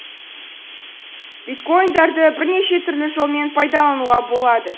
биткоиндарды бірнеше түрлі жолмен пайдалануға болады